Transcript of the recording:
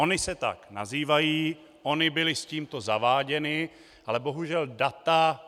Ony se tak nazývají, ony byly s tímto zaváděny, ale bohužel data...